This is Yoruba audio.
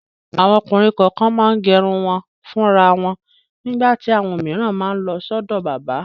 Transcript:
Àwọn ọkùnrin kọ̀ọ̀kan máa ń gẹrun wọn fúnra wọn nígbà tí àwọn òmíràn máa lọ sọ́dọ̀ bábà.